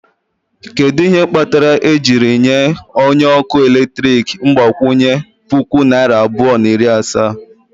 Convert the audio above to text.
Kedu ihe kpatara e jiri nye onye ọkụ eletrik mgbakwunye puku naira abụọ na iri asaa?